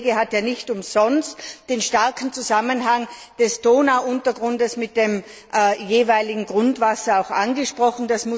Der Kollege hat ja nicht umsonst den starken Zusammenhang des Donauuntergrundes mit dem jeweiligen Grundwasser angesprochen.